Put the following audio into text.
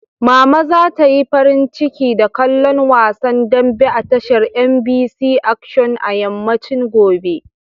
Mama za ta yi farin ciki da kallon wasan dambe a tashar MBC Action a yammacin gobe.